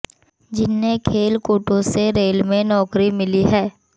जिन्हें खेल कोटे से रेल में नौकरी मिली है